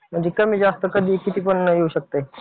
म्हणजे कमी जास्त कधी किती पण येऊ शकतंय.